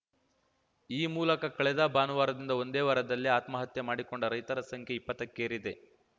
ಈ ಮೂಲಕ ಕಳೆದ ಭಾನುವಾರದಿಂದ ಒಂದೇ ವಾರದಲ್ಲಿ ಆತ್ಮಹತ್ಯೆ ಮಾಡಿಕೊಂಡ ರೈತರ ಸಂಖ್ಯೆ ಇಪ್ಪತ್ತಕ್ಕೇರಿದೆ